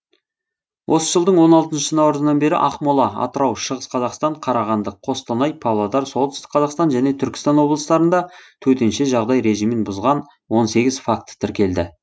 осы жылдың он алтыншы наурызынан бері ақмола атырау шығыс қазақстан қарағанды қостанай павлодар солтүстік қазақстан және түркістан облыстарында төтенше жағдай режимін бұзған он сегіз факті тіркелді